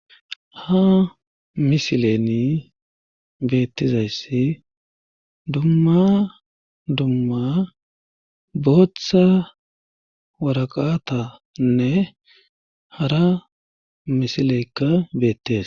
ha misileni bettizayssi dumma dumma booththa waraqatanne hara misileykka beettes